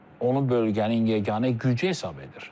Onu bölgənin yeganə gücü hesab edir.